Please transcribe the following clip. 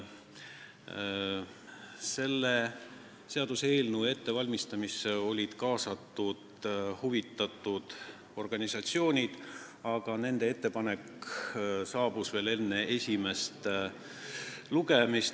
Selle seaduseelnõu ettevalmistamisse olid kaasatud huvitatud organisatsioonid, aga nende ettepanek saabus meile veel enne esimest lugemist.